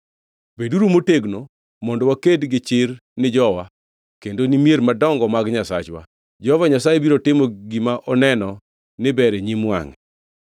Beduru motegno mondo waked gi chir ni jowa kendo ni mier madongo mag Nyasachwa. Jehova Nyasaye biro timo gima oneno ni ber e nyim wangʼe.”